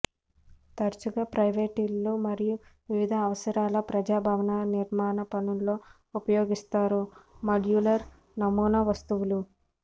తరచుగా ప్రైవేట్ ఇళ్ళు మరియు వివిధ అవసరాల ప్రజా భవనాలు నిర్మాణ పనుల్లో ఉపయోగిస్తారు మాడ్యులర్ నమూనా వస్తువులు